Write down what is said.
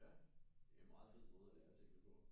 Ja det er en meget fed måde at lære tingene på